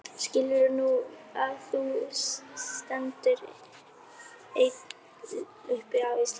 Skilurðu nú að þú stendur einn uppi á Íslandi?